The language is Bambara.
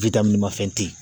mafɛn tɛ yen.